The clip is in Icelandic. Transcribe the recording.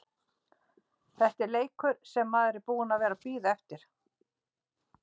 Þetta er leikur sem maður er búinn að vera að bíða eftir.